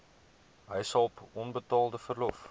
huishulp onbetaalde verlof